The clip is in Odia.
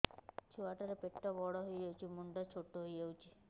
ଛୁଆ ଟା ର ପେଟ ବଡ ହେଇଯାଉଛି ମୁଣ୍ଡ ଛୋଟ ହେଇଯାଉଛି